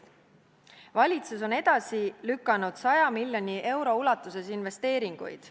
Valitsus on edasi lükanud 100 miljoni euro ulatuses investeeringuid.